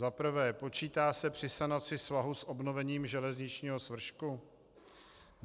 Za prvé: počítá se při sanaci svahu s obnovením železničního svršku?